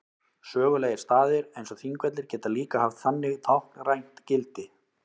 Sögulegir staðir eins og Þingvellir geta líka haft þannig táknrænt gildi.